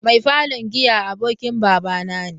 Mai falon giya abokin babana ne.